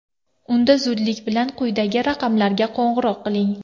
Unda zudlik bilan quyidagi raqamlarga qo‘ng‘iroq qiling.